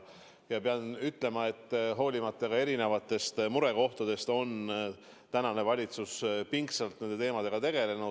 Ja pean ütlema, et hoolimata muudest erinevatest murekohtadest on valitsus pingsalt nende teemadega tegelenud.